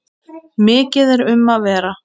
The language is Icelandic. Mikið er um að vera.